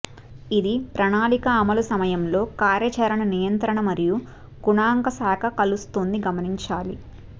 ఇది ప్రణాళిక అమలు సమయంలో కార్యాచరణ నియంత్రణ మరియు గణాంక శాఖ కలుస్తుంది గమనించాలి